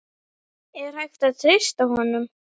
Er hægt að treysta honum?